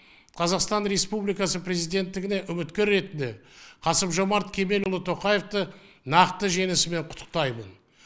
қазақстан республикасы президенттігіне үміткер ретінде қасым жомарт кемелұлы тоқаевты нақты жеңісімен құттықтаймын